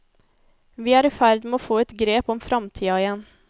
Vi er i ferd med å få et grep om framtida igjen.